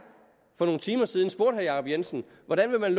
for nogle timer siden spurgte herre jacob jensen hvordan man